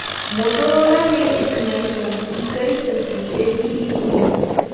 Motorola के इस नए फोन की कई तस्वीरें भी लीक हुई हैं